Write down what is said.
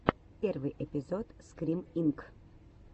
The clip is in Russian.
первый эпизод скрим инк